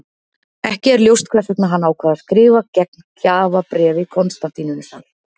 Ekki er ljóst hvers vegna hann ákvað að skrifa gegn gjafabréfi Konstantínusar.